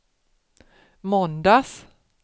måndags